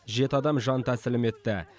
жеті адам жан тәсілім етті